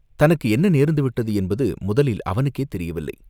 தனக்கு என்ன நேர்ந்து விட்டது என்பது முதலில் அவனுக்கே தெரியவில்லை.